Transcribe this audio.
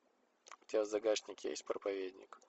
у тебя в загашнике есть проповедник